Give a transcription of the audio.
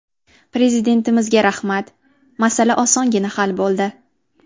–Prezidentimizga rahmat, masala osongina hal bo‘ldi.